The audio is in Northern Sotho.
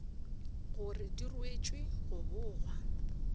gore di ruetšwe go bogwa